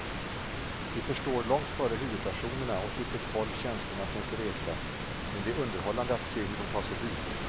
Vi förstår långt före huvudpersonerna åt vilket håll känslorna tänker resa, men det är underhållande att se hur de tar sig dit.